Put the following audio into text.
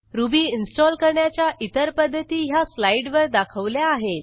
ruby install करण्याच्या इतर पध्दती ह्या स्लाईडवर दाखवल्या आहेत